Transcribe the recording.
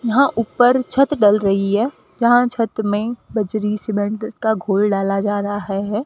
यहां ऊपर छत डल रही है यहां छत मे बजरी सीमेंट का घोल डाला जा रहा है।